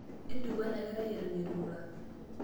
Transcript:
Intukuo ena kerai eton eitu eirura.